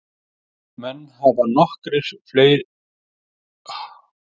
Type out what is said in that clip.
Menn hafa nokkrar fleiri leiðir til að nálgast spurninguna um aldur alheimsins.